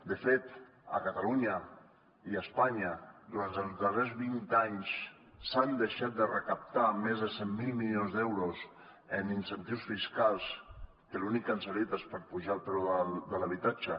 de fet a catalunya i a espanya durant els darrers vint anys s’han deixat de recaptar més de cent miler milions d’euros en incentius fiscals que per a l’únic que han servit és per apujar el preu de l’habitatge